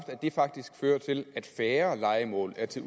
at det faktisk fører til at færre lejemål er til